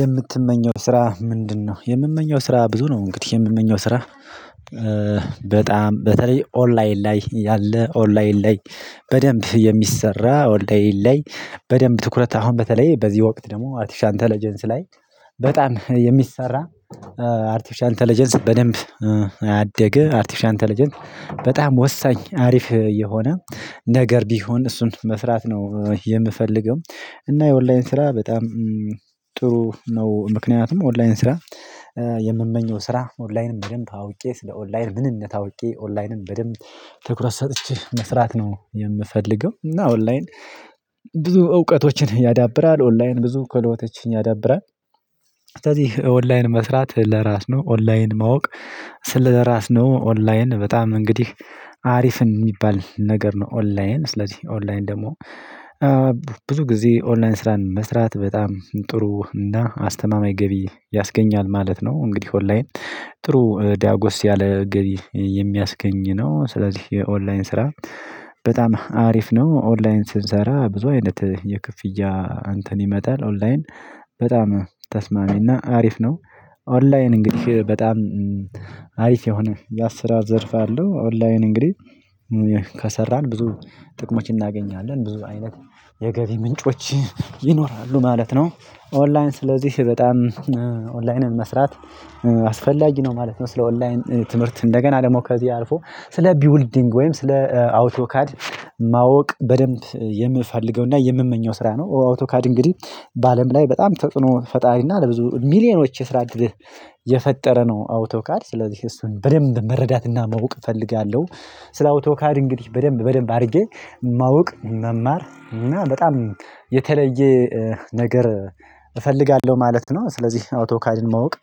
የምትመኘው ስራ ምንድነው? የምመኘው ስራ ብዙ ነው እንግዲህ የምመኘው ስራ። በጣም በተለይ ኦንላይን ላይ ያለ ኦንላይን ላይ በደንብ የሚሰራ ኦንላይን ላይ በደንብ ትኩረት አሁን በተለይ በዚህ ወቅት ደግሞ አርቲፊሻል ኢንተለጀንስ ላይ በጣም የሚሰራ አርቲፊሻል ኢንተለጀንስ በደንብ አደገ አርቲፊሻል ኢንተለጀንስ በጣም ወሳኝ አሪፍ የሆነ ነገር ቢሆን እሱን መስራት ነው የምፈልገው። እና የኦንላይን ስራ በጣም ጥሩ ነው ምክንያቱም ኦንላይን ስራ። የምመኘው ስራ ኦንላይንም በደንብ አውቄ ስለ ኦንላይን ምንነት አውቄ ኦንላይንም በደንብ ትኩረት ሰጥቼ መስራት ነው የምፈልገው። እና ኦንላይን ብዙ እውቀቶችን ያዳብራል ኦንላይን ብዙ ከሎቶችን ያዳብራል ስለዚህ ኦንላይን መስራት ለራስ ነው ኦንላይን ማወቅ። ስለራስ ነው ኦንላይን በጣም እንግዲህ አሪፍን የሚባል ነገር ነው። ኦንላይን ስለዚህ ኦንላይን ደግሞ ብዙ ጊዜ ኦንላይን ስራን መስራት በጣም ጥሩ እና አስተማማኝ ገቢ ያስገኛል ማለት ነው። እንግዲህ ኦንላይን ጥሩ ዲያጎስ ያለ ገቢ የሚያስገኝ ነው። ስለዚህ የኦንላይን ስራ በጣም አሪፍ ነው። ኦንላይን ስንሰራ ብዙ አይነት የክፍያ እንተን ይመጣል ኦንላይን በጣም ተስማሚና አሪፍ ነው። ኦንላይን እንግዲህ በጣም አሪፍ የሆነ የስራ ዘርፍ አለው። ኦንላይን እንግዲህ ከሰራን ብዙ ጥቅሞች እናገኛለን ብዙ አይነት የገቢ ምንጮች ይኖራሉ ማለት ነው። ኦንላይን ስለዚህ በጣም ኦንላይንን መስራት አስፈላጊ ነው ማለት ነው። ስለ ኦንላይን ትምህርት እንደገና ደግሞ ከዚህ አልፎ ስለ ቢውልዲንግ ወይም ስለ አውቶካድ ማወቅ በደንብ የምፈልገውና የምመኘው ስራ ነው። አውቶካድ እንግዲህ በአለም ላይ በጣም ተጥኖ ፈጣሪ እና ለብዙ ሚሊዮኖች የስራ አድርገህ የፈጠረ ነው አውቶካድ ስለዚህ እሱን በደንብ መረዳትና ማወቅ እፈልጋለሁ። ስለ አውቶካድ እንግዲህ በደንብ በደንብ አድርጌ ማወቅ መማር እና በጣም የተለየ ነገር እፈልጋለሁ ማለት ነው። ስለዚህ አውቶካድን ማወቅ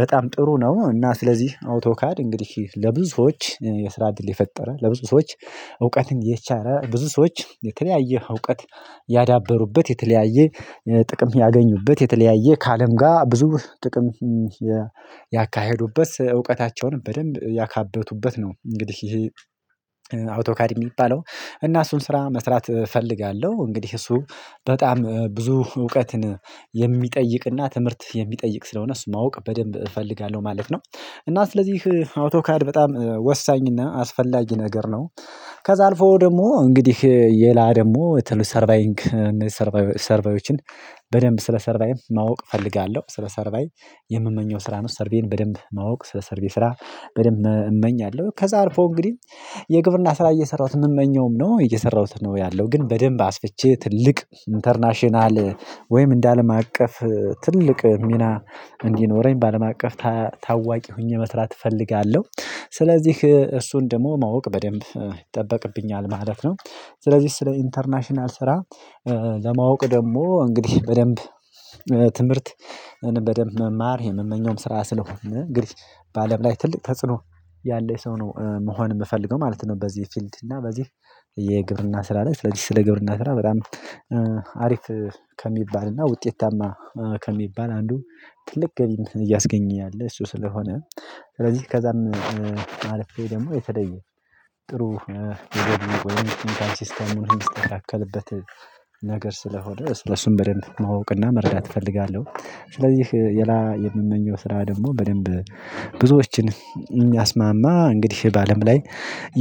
በጣም ጥሩ ነው። እና ስለዚህ አውቶካድ እንግዲህ ለብዙዎች የስራ ድል የፈጠረ ለብዙ ሰዎች እውቀትን የቻረ ብዙ ሰዎች የተለያየ እውቀት ያዳበሩበት የተለያየ ጥቅም ያገኙበት የተለያየ ከአለም ጋር ብዙ ጥቅም ያካሄዱበት ስለ እውቀታቸም በደንብ ያካበቱበት ነው። እንግዲህ ይሄ አውቶካድ የሚባለው እና እሱን ስራ መስራት እፈልጋለሁ። እንግዲህ እሱ በጣም ብዙ እውቀትን የሚጠይቅና ትምህርት የሚጠይቅ ስለሆነ እሱ ማወቅ በደንብ እፈልጋለሁ ማለት ነው። እና ስለዚህ አውቶካድ በጣም ወሳኝና አስፈላጊ ነገር ነው። ከዛ አልፈው ደግሞ እንግዲህ ሌላ ደግሞ ተሉት ሰርቫይንግ ሰርቫይንግ በደንብ ስለ ሰርቫይዝ ማወቅ እፈልጋለሁ። ስለ ሰርቫይዝ የምመኘው ስራ ነው ሰርቬይን በደንብ ማወቅ ሰርቪስ ስራ በደንብ እመኛለሁ። ከዛር አልፎ እንግዲህ የግብርና ስራ እየሰራሁት የምመኘውም ነው። እየሰራሁት ነው ያለው ግን በደንብ አስፍቼ ትልቅ ኢንተርናሽናል ወይም እንደ አለም አቀፍ ትልቅ ሚና እንዲኖረኝ በአለም አቀፍ ታዋቂ ሆኜ መስራት እፈልጋለሁ። ስለዚህ እሱን ደግሞ ማወቅ በደንብ ይጠበቅብኛል ማለት ነው። ስለዚህ ስለ ኢንተርናሽናል ስራ ለማወቅ ደግሞ እንግዲህ በደንብ ትምህርት በደንብ መማር የምመኘውም ስራ ስለሆንን እንግዲህ በአለም ላይ ትልቅ ተጽዕኖ ያለው ሰው ነው መሆን የምፈልገው ማለት ነው። በዚህ ፊልድ እና በዚህ የግብርና ስራ ላይ ስለዚህ ስለ ግብርና ስራ በጣም አሪፍ ከሚባልና ውጤታማ ከሚባል አንዱ ትልቅ ገቢ እያስገኘ ያለ እሱ ስለሆነ። ስለዚህ ከዛም አልፌ ደግሞ የተለየ ጥሩ የገደመው ወይም ሲስተሙን የሚስተካከልበት ነገር ስለሆነ ስለሱም በደንብ ማወቅና መረዳት እፈልጋለሁ። ስለዚህ የላ የምመኘው ስራ ደግሞ በደንብ ብዙዎችን የሚያስማማ እንግዲህ በአለም ላይ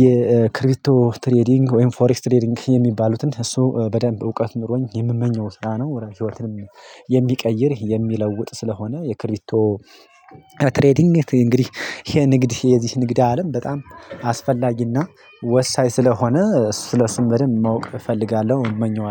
የክሪፕቶ ትሬዲንግ ወይም ፎሬኤክስ ትሬዲንግ የሚባሉትን እሱ በደንብ እውቀት ኖሮኝ የምመኘው ስራ ነው። ህይወትም የሚቀይር የሚለውጥ ስለሆነ የክሪፕቶ ትሬዲንግ እንግዲህ የንግድ የዚህ ንግድ አለም በጣም አስፈላጊ እና ወሳኝ ስለሆነ ስለእሱ በደንብ ማወቅ እፈልጋለሁ። እመኘዋለሁ